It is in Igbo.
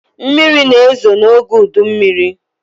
Mmiri na-ezo n’oge udummiri